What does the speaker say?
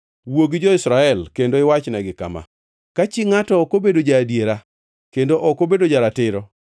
“Wuo gi jo-Israel kendo iwachnegi kama: ‘Ka chi ngʼato ok obedo ja-adiera kendo ok obedo ja-ratiro